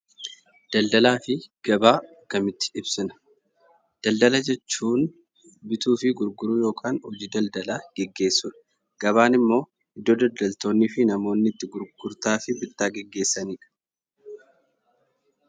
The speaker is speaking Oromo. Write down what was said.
Daldalaa fi gabaa akkamitti ibsina? Daladala jechuun bituu fi gurguruu yookaan hojii daldalaa gaggeessuudha. Gabaan immoo iddoo daldaltoonnii fi namoonni itti bittaa fi gurgurtaa gaggeessanidha.